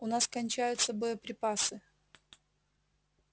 у нас кончаются боеприпасы